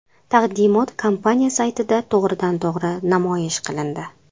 Taqdimot kompaniya saytida to‘g‘ridan to‘g‘ri namoyish qilindi.